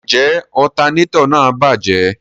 Njẹ alternator náà bajẹ?